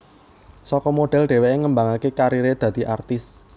Saka model dheweké ngembangaké kariré dadi artis